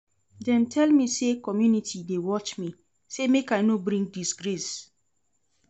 Dem tell me sey community dey watch me, sey make I no bring disgrace.